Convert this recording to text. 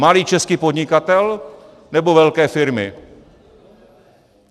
Malý český podnikatel, nebo velké firmy?